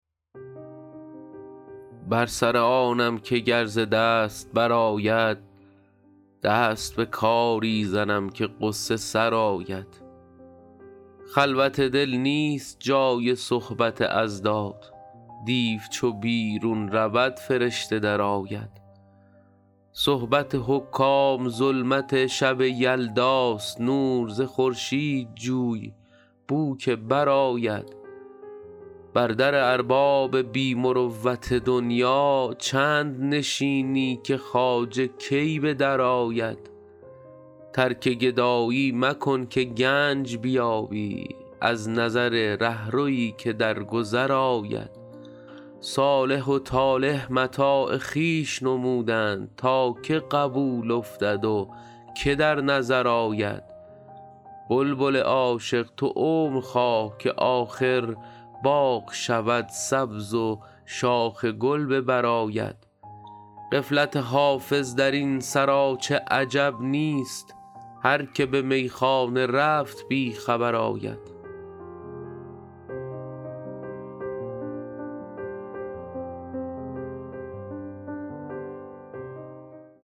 بر سر آنم که گر ز دست برآید دست به کاری زنم که غصه سرآید خلوت دل نیست جای صحبت اضداد دیو چو بیرون رود فرشته درآید صحبت حکام ظلمت شب یلداست نور ز خورشید جوی بو که برآید بر در ارباب بی مروت دنیا چند نشینی که خواجه کی به درآید ترک گدایی مکن که گنج بیابی از نظر رهروی که در گذر آید صالح و طالح متاع خویش نمودند تا که قبول افتد و که در نظر آید بلبل عاشق تو عمر خواه که آخر باغ شود سبز و شاخ گل به بر آید غفلت حافظ در این سراچه عجب نیست هر که به میخانه رفت بی خبر آید